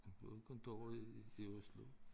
Vi havde kontor i i Oslo